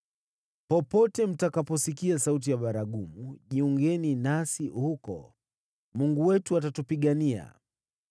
Popote mtakaposikia sauti ya baragumu, jiungeni nasi huko. Mungu wetu atatupigania!”